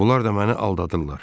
Bunlar da məni aldadırlar.